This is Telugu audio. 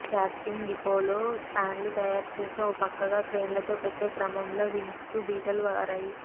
క్యాస్టింగ్ డిపోలో స్పాన్లు తయారు చేసి ఓ పక్కగా క్రేన్లతో పెట్టే క్రమంలో వింగ్స్కు బీటలు వారాయి